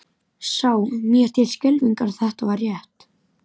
Sá mér til skelfingar að þetta var rétt.